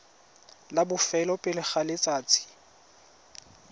la bofelo pele ga letsatsi